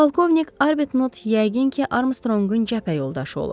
Polkovnik Arbetnot yəqin ki, Armstrongun cəbhə yoldaşı olub.